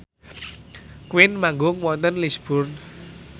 Queen manggung wonten Lisburn